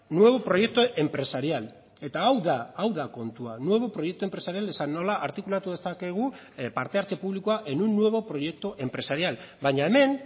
nuevo proyecto empresarial eta hau da hau da kontua nuevo proyecto empresarial esan nola artikulatu dezakegu parte hartze publikoa en un nuevo proyecto empresarial baina hemen